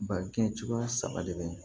Ba kɛ cogoya saba de bɛ